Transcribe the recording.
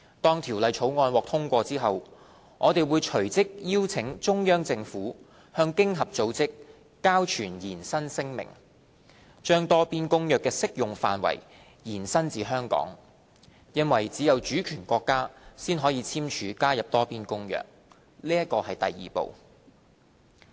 當《條例草案》獲通過後，我們會隨即邀請中央政府向經合組織交存延伸聲明，把《多邊公約》的適用範圍延伸至香港，因為只有主權國家才可簽署加入《多邊公約》，這是第二步。